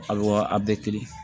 A wa a bɛɛ kelen